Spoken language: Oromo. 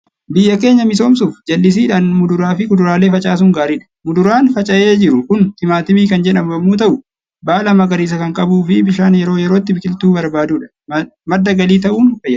Biyya keenya misoomsuuf jallisiidhaan muduraa fi kuduraalee facaasuun gaariidha. Muduraan faca'ee jiru kun timaatimii kan jedhamu yommuu ta'u, baala magariisaa kan qabuu fi bishaan yeroo yerootti biqiltuu barbaadudha. Madda galii ta'uun fayyada.